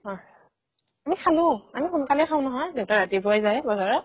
অ আমি খালো আমি সোনকালে খাও নহয় দেউতা ৰাতিপুৱাই যায় বজাৰত